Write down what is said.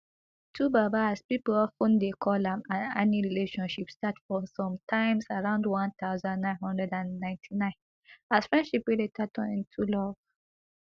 twobaba as pipo of ten dey call am and annie relationship start for sometimes around one thousand, nine hundred and ninety-nine as friendship wey later turn into love